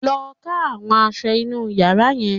Lọ ká àwọn aṣọ inú yàrá yẹn